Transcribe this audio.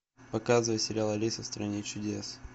показывай сериал алиса в стране чудес